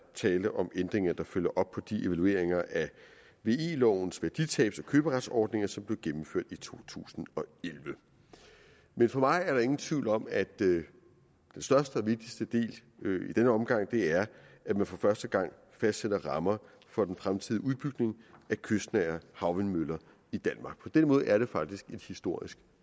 tale om ændringer der følger op på de evalueringer af ve lovens værditabs og køberetsordninger som blev gennemført i to tusind og elleve men for mig er der ingen tvivl om at den største og vigtigste del i denne omgang er at man for første gang fastsætter rammer for den fremtidige udbygning af kystnære havvindmøller i danmark og på den måde er det faktisk et historisk